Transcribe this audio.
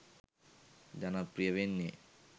ජනප්‍රිය වෙන්නේ?